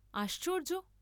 আশ্চর্য্য!